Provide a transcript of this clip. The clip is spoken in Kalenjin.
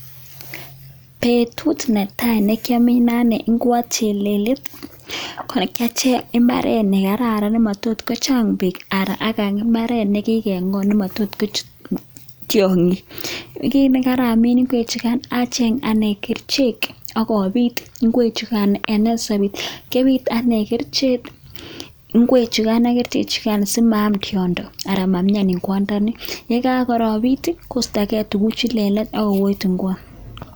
Betut netai neki anei gw'ot cheleliet ko kiacheng' mbaret nekararan nematot kochang' peek , ak imbaret nekikeng'ot nemotot kochut tiong'ik. Kiin kogaramin ing'wechugan acheng' ane kerchek agopiit ingwek chugan en nursery. Kiopiit ane ngwechugan ak kerichek chugan, simaam tiondo ana mamian ing'wondoni. Ye karopiit, kostoge tuguchu lelach okoyet ing'wot.